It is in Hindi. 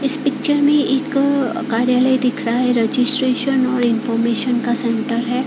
इस पिक्चर में एक अ कार्यालय दिख रहा है रजिस्ट्रेशन और इन्फॉर्मेशन का सेंटर है।